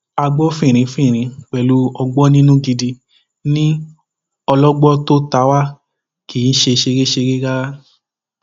a gbọ fínrínfinrin pẹlú ọgbọninú gidi ní ọlọgbọ tó ta wá kì í ṣe ṣeréṣeré rárá